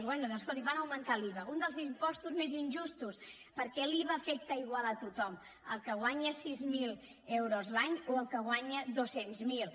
bé doncs escolti van augmentar l’iva un dels impostos més injustos perquè l’iva afecta igual a tothom al que guanya sis mil euros l’any o al que en guanya dos cents miler